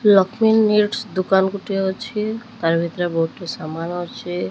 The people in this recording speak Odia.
ଲଷ୍ମୀ ନେଟ୍ସ ଦୁକାନ ଗୋଟେ ଅଛି ତାର ଭିତରେ ବହୁତ ସାରା ସାମାନ ଅଛି।